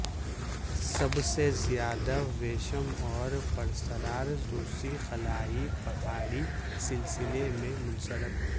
سب سے زیادہ ویشم اور پراسرار روسی خلائی پہاڑی سلسلے میں منسلک